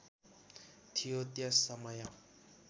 थियो त्यस समय